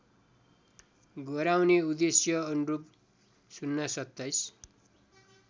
गराउने उद्देश्यअनुरूप ०२७